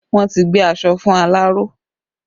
Wọn ti gbé aṣọ fún aláró